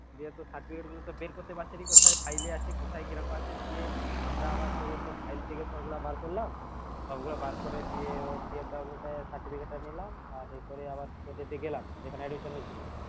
দিয়ে তো certificate গুলো তো বের করতে পারছে না কোথায় file এ আছে কোথায় গিয়ে রাখা আছে দিয়ে আমরা আবার পুরো সব file থেকে সবগুলা বার করলাম সবগুলা বার করে দিয়ে ওর PFW তে certificate টা নিলাম আর এই করে আবার গেলাম যেখানে admission হয়েছিল